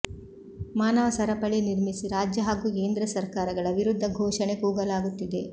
ಮಾನವ ಸರಪಳಿ ನಿರ್ಮಿಸಿ ರಾಜ್ಯ ಹಾಗೂ ಕೇಂದ್ರ ಸರ್ಕಾರಗಳ ವಿರುದ್ಧ ಘೋಷಣೆ ಕೂಗಲಾಗುತ್ತಿದೆ